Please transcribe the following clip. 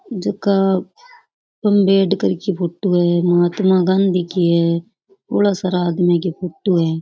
जेका अंबेडकर की फोटो है महात्मा गांधी की है --